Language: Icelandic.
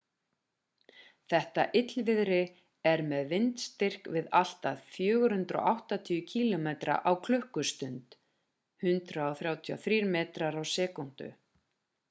þetta illviðri er með vindstyrk við allt að 480 km/klst 133 m/s; 300 mph